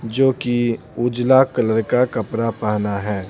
जो कि उजला कलर का कपड़ा पहना है।